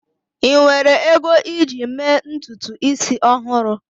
ị nwere ego iji mee ntutu isi ọhụrụ?